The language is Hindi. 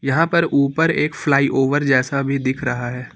यहां पर ऊपर एक फ्लाईओवर जैसा भी दिख रहा है।